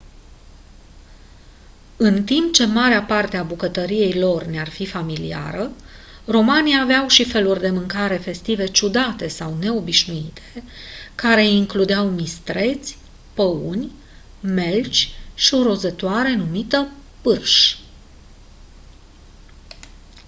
în timp ce marea parte a bucătăriei lor ne-ar fi familiară romanii aveau și feluri de mâncare festive ciudate sau neobișnuite care includeau mistreți păuni melci și o rozătoare numită pârș